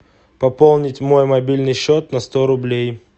пополнить мой мобильный счет на сто рублей